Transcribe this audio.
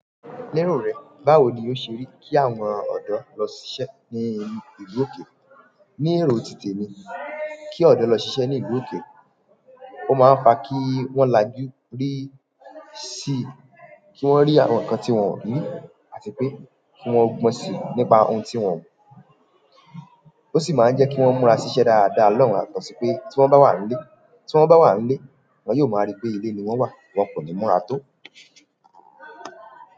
Ní ọ̀rọ̀ rẹ̀, báwo ni ó ṣe rí kí àwọn ọ̀dọ́ lọ ṣ'iṣẹ́ ní ìlú òkè? Ní erọ̀ òtítọ́ mi, kí ọ̀dọ́ lọ ṣ'iṣẹ́ ní ìlú òkè, ó máa ń fa kí wọ́n làjú rí sí, kí wọ́n rí àwọn ǹkan tí wọ́n ń rí àti pé kí wọ́n mọ̀ sí i nípa ohun tí wọ́n ń mọ̀. Ó sì máa ń jẹ́ kí wọ́n múra ṣiṣẹ́ dáadáa lọ́wọ́ àkọ́sí pé tí wọ́n bá wà nílé, tí wọ́n bá wà nílé, wọ́n yóò máa rí pé ilé ni wọ́n wà, wọn kò ní múra tó.